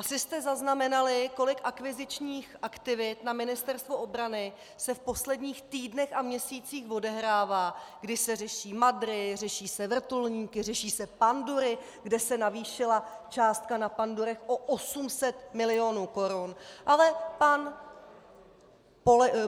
Asi jste zaznamenali, kolik akvizičních aktivit na Ministerstvu obrany se v posledních týdnech a měsících odehrává, kdy se řeší madry, řeší se vrtulníky, řeší se pandury, kde se navýšila částka na pandurech o 800 milionů korun - ale pan